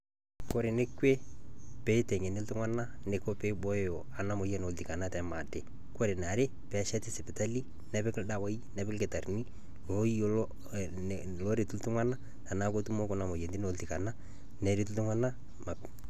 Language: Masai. Koree neekoi peiteng'eni ltung'ana neiko peibooyo anaa moyian olltikana tematee. Koree nee aree pesheti sipitali neepiki ldawai neepiki ldkitarini oyolo aaret ltung'ana tanaa ootumo kunaa moyian olltikana peeret ltung'ana.